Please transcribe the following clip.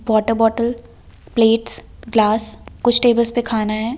Water bottle plates glass कुछ tables पे खाना है।